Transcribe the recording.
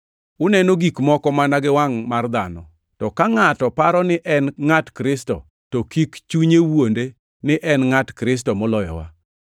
Uneno gik moko mana gi wangʼ mar dhano. To ka ngʼato paro ni en ngʼat Kristo, to kik chunye wuonde ni en ngʼat Kristo moloyowa!